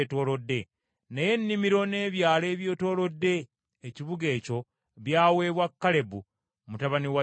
naye ennimiro n’ebyalo ebyetoolodde ekibuga ekyo, byaweebwa Kalebu mutabani wa Yefune.